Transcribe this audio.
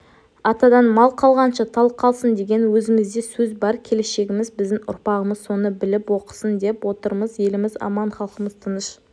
атадан мал қалғанша тал қалсын деген өзімізде сөз бар келешегіміз біздің ұрпағымыз соны біліп оқысын деп отырмыз еліміз аман халқымыз тыныш